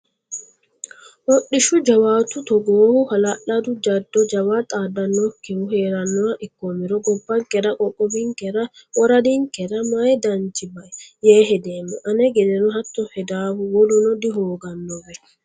Hodhishshu jawaatu togoohu hala'ladu jado jawa xaadanokkihu heeranoha ikkomero gobbankera qoqqowinkera woraddankera mayi danchi bai yee hedeemmo ane gedeno hatto hedanohu woluno dihooganowe.